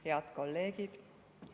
Head kolleegid!